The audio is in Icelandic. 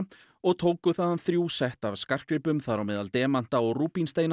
og tóku þaðan þrjú sett af skartgripum þar á meðal demanta og